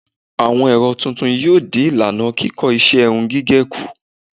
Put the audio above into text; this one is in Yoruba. Àwọn ẹ̀rọ tuntun yóò dín ìlànà kíkọ́ iṣẹ́ irun gígẹ̀ kù.